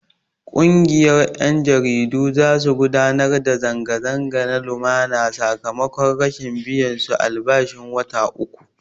Ƙungiyar 'yan jaridu za su gudanar da zanga-zanga na lumana sakamakon rashin biyan su albashin wata uku.